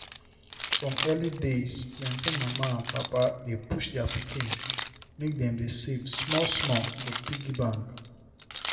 from early days plenty mama and papa dey push their pikin make dem dey save small small for piggy bank.